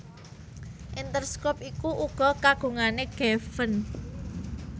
Interscope iku uga kagungane Geffen